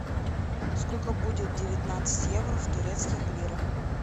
сколько будет девятнадцать евро в турецких лирах